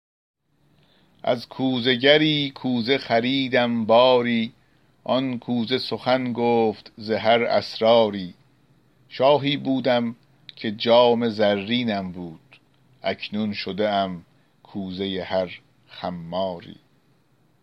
از کوزه گری کوزه خریدم باری آن کوزه سخن گفت ز هر اسراری شاهی بودم که جام زرینم بود اکنون شده ام کوزه هر خماری